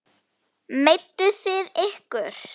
Meidduð þið ykkur?